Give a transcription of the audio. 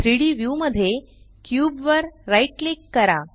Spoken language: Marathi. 3डी व्यू मध्ये क्यूब वर राइट क्लिक करा